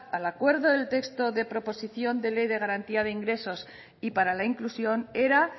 al acuerdo del texto de proposición de ley garantía de ingresos y para la inclusión era